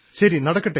ശരി നടക്കട്ടെ